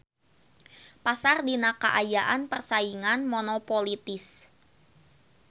Pasar dina kaayaan persaingan monopolitis.